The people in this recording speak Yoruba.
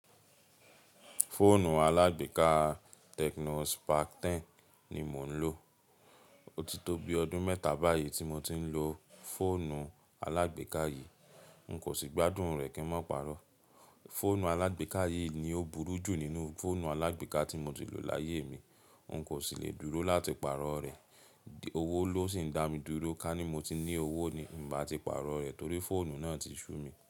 Fóònù alágbèéká Tecno Spark 10 ni mò ń lò. Ó ti tó bi ọdún mẹ́ta báyìí tí mo ti ń lò fòònù alágbèéká yìí, n kò sì gbádùn rẹ̀ kí n má pàrọ̀. Fòònù alágbèéká yìí ni ó burú jù nínú fòònù alágbèéká tí mo ti lò láyé mi, n kò sì lè dúró láti pàrọ̀ rẹ̀. Owó ló sì ń dá mi dúró ká ní mo ti ní owó ni, n bá ti pàrọ̀ rẹ̀ torí fòònù náà ti ṣú mi.